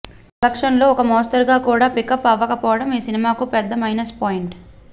collection లు ఒక మోస్తరుగా కూడా పికప్ అవకపోవడం ఈ సినిమాకి పెద్ద మైనస్ పాయింట్